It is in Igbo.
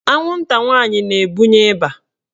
Anwụnta nwaanyị na-ebunye ịba.